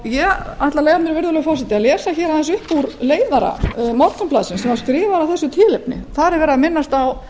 ég mun nú lesa upp úr leiðara morgunblaðsins sem skrifaður var af þessu tilefni þar er minnst á